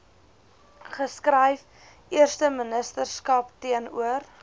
geskryf eersteministerskap teenoor